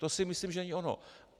To si myslím, že není ono.